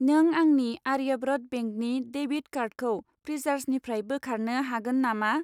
नों आंनि आर्याव्रत बेंकनि डेबिट कार्डखौ फ्रिसार्जनिफ्राय बोखारनो हागोन नामा?